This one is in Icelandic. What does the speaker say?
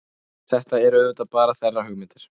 Þetta eru auðvitað bara þeirra hugmyndir